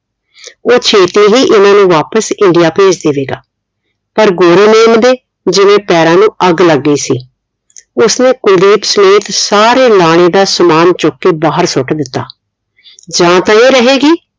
ਉਹ ਛੇਤੀ ਹੀ ਇਹਨਾਂ ਨੂੰ ਵਾਪਿਸ ਇੰਡੀਆ ਭੇਜ ਦੇਵੇਗਾ ਪਰ ਗੋਰੀ ਮੇਮ ਦੇ ਜਿਵੇਂ ਪੈਰਾਂ ਨੂੰ ਅੱਗ ਲੱਗ ਗਈ ਸੀ ਉਸਨੇ ਕੁਲਦੀਪ ਸਮੇਤ ਸਾਰੇ ਲਾਨੇ ਨਾ ਸਮਾਨ ਚੁੱਕ ਕੇ ਬਾਹਰ ਸੁੱਟ ਦਿੱਤਾ ਜਾ ਤਾ ਇਹ ਰਹੇਗੀ